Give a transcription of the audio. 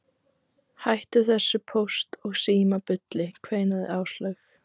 Hættu þessu Póst og Síma bulli kveinaði Áslaug.